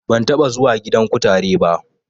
Ban taɓa zuwa gidan kutare ba